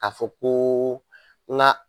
A fɔ ko n ka